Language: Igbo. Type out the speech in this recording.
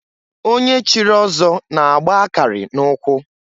Onye chiri ọzọ na-agba akarị na ụkwụ.